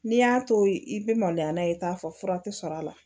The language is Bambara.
N'i y'a to i bɛ maloya n'a ye k'a fɔ fura tɛ sɔrɔ a la